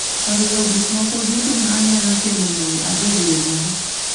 oriwo gik moko duto ma anyalo timo mondo abed gi mor